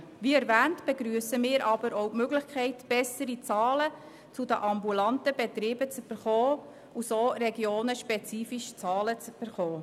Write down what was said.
Wie erwähnt, begrüssen wir aber auch die Möglichkeit, bessere Zahlen zu den ambulanten Betrieben zu erhalten und so regionenspezifische Zahlen zu haben.